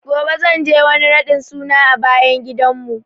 Gobe zan je wani raɗin suna a bayan gidan mu